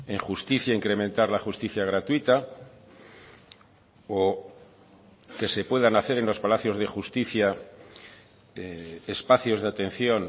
en justicia incrementar la justicia gratuita o que se puedan hacer en los palacios de justicia espacios de atención